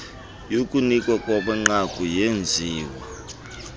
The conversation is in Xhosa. yokunikwa kwamanqaku yenziwa